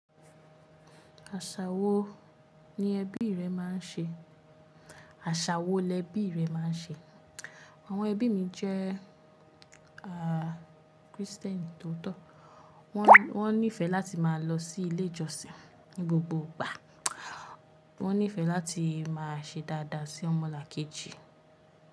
Àṣà wo ni ẹbí rẹ máa ń ṣe? Àṣà wo lẹbí rẹ máa ń ṣe? Àwọn ẹbí mi jẹ́, Christian tòótọ́. Wọ́n nífẹ̀ láti máa lọ sí ilé ìjọsìn ní gbogbo ìgbà. Wọ́n nífẹ̀ láti máa ṣe dáadáa sí ọmọlàkejì.